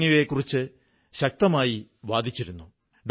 ഞാൻ എട്ടാം ക്ലാസുവരെ പഠിച്ചിട്ടുണ്ട്